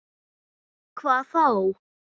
Hvað þá?